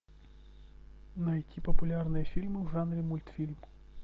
найти популярные фильмы в жанре мультфильм